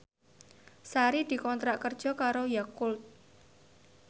Sari dikontrak kerja karo Yakult